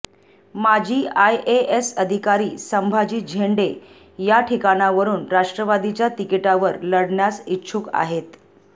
माजी आयएएस अधिकारी संभाजी झेंडे या ठिकाणावरुन राष्ट्रवादीच्या तिकिटावर लढण्यास इच्छुक आहेत